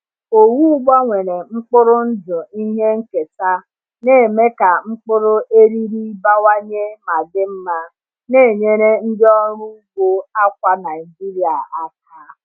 Owu gbanwere mkpụrụ ndụ ihe nketa na-eme ka mkpụrụ eriri bawanye ma dị mma, na-enyere ndị ọrụ ugbo akwa Naijiria aka.